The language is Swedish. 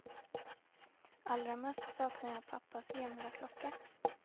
Allra mest saknar jag pappas gamla klocka.